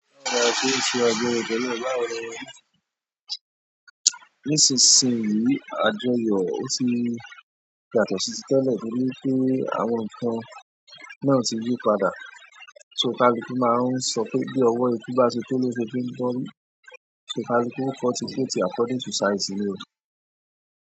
Lára ṣí ṣe àjọyọ̀ tẹ́lẹ̀ ọ̀la òro. Nísinsìnyí àjọyọ̀ ó ti yàtọ̀ sí títẹ̀lẹ̀ torí pé àwọn nǹkan náà ti yí padà. Tóò kálukú máa ń sọ pé bí ọwọ́ eku bá ṣe tó ló ṣe fi ń tọ́rí so kálukú ó cut coat ẹ̀ according to size rẹ̀.